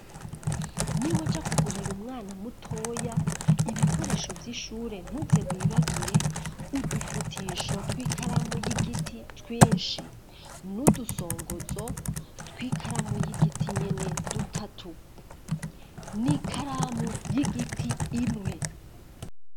niwajakugurira umwana mutoya ibikoresho by'ishure ntutse wibagire udufutisho tw'ikaramu y'igiti twinshi n'udusongotzo tw'ikaramu y'igiti nyene dutatu n'ikaramu y'igiti imwe.